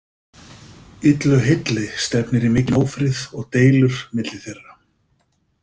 Illu heilli stefnir í mikinn ófrið og deilur milli þeirra.